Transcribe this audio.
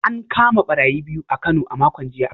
An kama barayi biyu a Kano a makon jiya